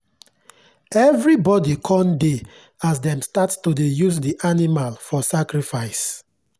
everybody con dey as dem start to dey use the animal for sacrifice.